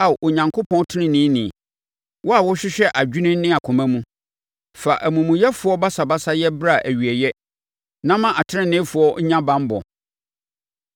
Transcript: Ao Onyankopɔn teneneeni, wo a wohwehwɛ adwene ne akoma mu, fa amumuyɛfoɔ basabasayɛ bra awieeɛ na ma ateneneefoɔ nya banbɔ.